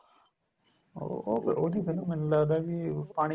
ਉਹ ਉਹ ਉਹਦੀ film ਮੈਨੂੰ ਲੱਗਦਾ ਵੀ ਪਾਣੀ